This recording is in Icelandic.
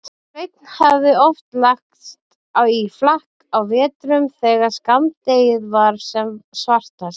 Sveinn hafði oft lagst í flakk á vetrum þegar skammdegið var sem svartast.